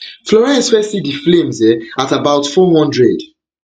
florence first see di flames um at about four hundred four hundred